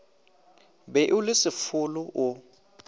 be o le sefolo o